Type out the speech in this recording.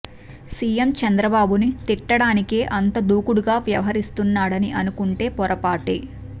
CM Chandrababu ని తిట్టడానికే అంత దూకుడుగా వ్యవహరిస్తున్నాడని అనుకుంటుంటే పొరపాటే